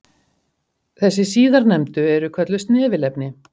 þessi síðarnefndu eru kölluð snefilefni